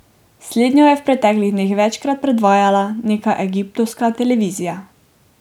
Slednjo je v preteklih dneh večkrat predvajala neka egiptovska televizija.